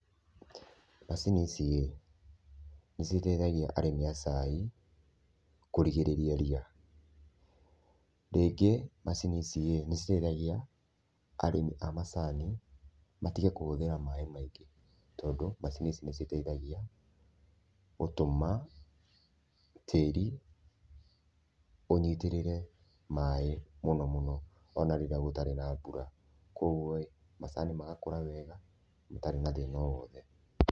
Macini ici-ĩ, nĩ citeithagia arĩmi a cai kũrigĩrĩria ria. Rĩngĩ, macini ici nĩ citeithagĩrĩria arĩmi a macani matige kũhũthĩra maĩ maingĩ tondũ macini ici nĩ citeithagia gũtũma tĩri ũnyitĩrĩre maĩ mũno mũno ona rĩrĩa gũtarĩ na mbura. Kũoguo-ĩ, macani magakũra wega matarĩ na thĩna o wothe.